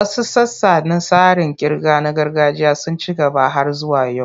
Wasu sassa na tsarin ƙirga na gargajiya sun ci gaba har zuwa yau.